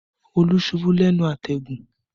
Olú ṣubú lẹ́nu àtẹ̀gùn